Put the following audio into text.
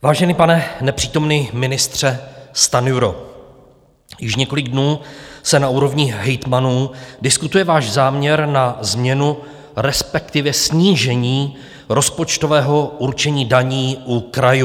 Vážený pane nepřítomný ministře Stanjuro, již několik dnů se na úrovni hejtmanů diskutuje váš záměr na změnu, respektive snížení rozpočtového určení daní u krajů.